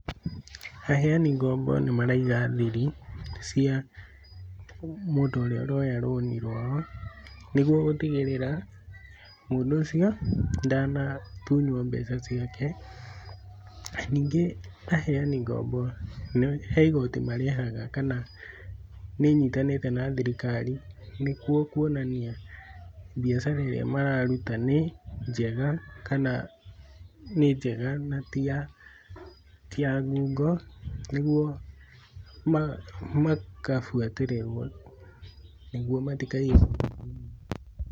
, ,Aheani ngombo nĩmaraiga thiri, cia, mũndũ ũrĩa ũroya roni rũao, nĩguo gũtigĩrĩra, mũndũ ũcio, ndanatunyo mbeca ciake. Ningĩ, aheani ngombo, he igoti marĩhaga kana, ,nĩnyitanĩte na thirikari, nĩkuo kuonania, mbiacara ĩrĩa mararuta nĩ, njega, kana nĩ, njega na ti ya ngungo, nĩguo makabũatĩrĩrũo, nĩguo matikaiyũo.